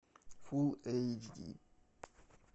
фулл эйч ди